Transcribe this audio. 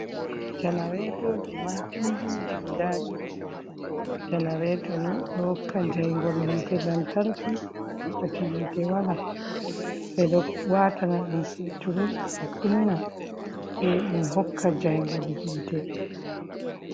Janaretoji ma pindi ji guda ɗiɗi, janareto ni ɗo hokka jaingol hite lan tarki to wakkati hite wala, ɓeɗo watana ɗum peturol je kunna se ɗum hokka jaingol hite.